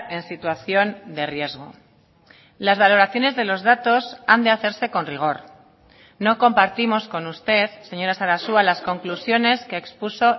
en situación de riesgo las valoraciones de los datos han de hacerse con rigor no compartimos con usted señora sarasua las conclusiones que expuso